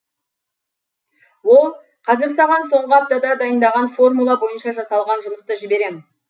ол қазір саған соңғы аптада дайындаған формула бойынша жасалған жұмысты жіберем